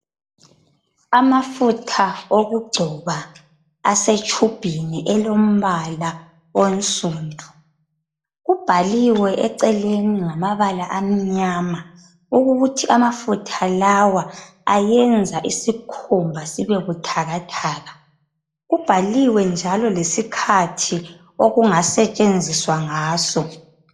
Amafutha okugcoba asetshubhini elombala onsundu, kubhaliwe eceleni ngamabala amnyama ukuthi amafutha lawa ayenza isikhumba sibebuthakathaka kubhaliwe njalo lesikhathi okungasetshenziswa ngaso.